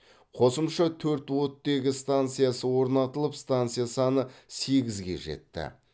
қосымша төрт оттегі станциясы орнатылып станция саны сегізге жетті